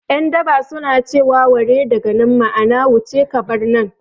Yan daba su na ce wa 'ware daga nan' ma'ana wuce ka bar nan